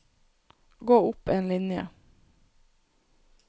Gå opp en linje